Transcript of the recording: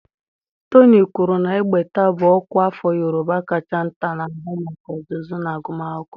Toni kwuru na Egbata bụ ọkwa afọ Yorùbá kacha nta na-ahụ maka ọzụzụ na agụmakwụkwọ.